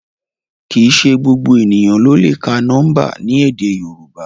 Kìí ṣe gbogbo eniyan lo le ka nọmba ni èdè yorùbá